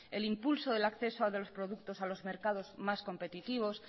el impulso del acceso de los productos a los mercados más competitivos